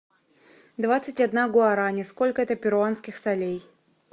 двадцать одна гуарани сколько это перуанских солей